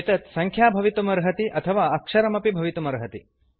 एतत् सङ्ख्या भवितुमर्हति अथवा अक्षरमपि भवितुमर्हति